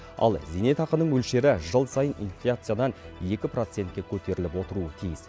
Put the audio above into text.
ал зейнетақының мөлшері жыл сайын инфляциядан екі процентке көтеріліп отыруы тиіс